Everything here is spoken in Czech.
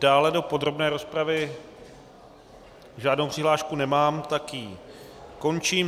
Dále do podrobné rozpravy žádnou přihlášku nemám, tak ji končím.